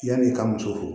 Yan'i ka muso furu